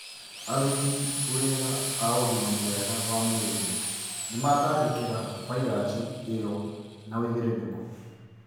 Aruti wĩra a ugima mwega wa mwĩrĩ nĩmatangĩkĩra vairasi ĩyo na wĩigĩrĩrĩku